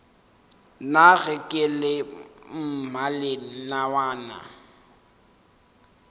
na ge ke le mmalenawana